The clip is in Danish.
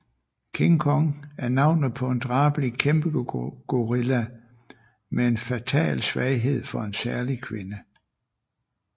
King Kong er navnet på en drabelig kæmpegorilla med en fatal svaghed for en særlig kvinde